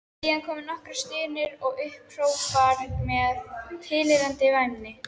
Síðan komu nokkrar stunur og upphrópanir með tilheyrandi væmni.